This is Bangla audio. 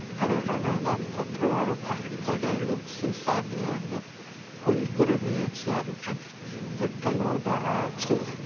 আর এখানে ডাক্তার টা বড় থেকে একদম সীসা নিয়ে একদম ফুল করে নিয়েছে | আর এখানে একটা লোক দাঁড়া আছে |।